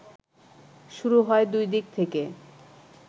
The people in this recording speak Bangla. শুরু হয় দুই দিক থেকে